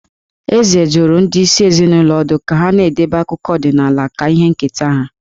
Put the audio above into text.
Eze dụrụ ndị isi ezinụlọ ọdụ ka ha na-edebe akụkọ ọdịnaala ka ihe nketa ha.